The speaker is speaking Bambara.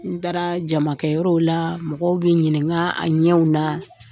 N taara jamakɛyɔrɔw la mɔgɔw bɛ n ɲininka a ɲɛw na